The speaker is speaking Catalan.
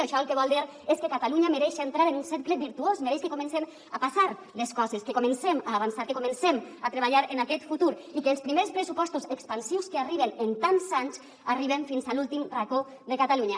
això el que vol dir és que catalunya mereix entrar en un cercle virtuós mereix que comencen a passar les coses que comencem a avançar que comencem a treballar en aquest futur i que els primers pressupostos expansius que arriben en tants anys arriben fins a l’últim racó de catalunya